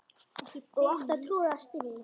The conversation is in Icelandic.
og átti að troða strý